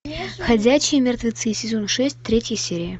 ходячие мертвецы сезон шесть третья серия